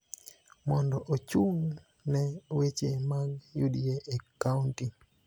mondo ochung� ne weche mag UDA e kaonti.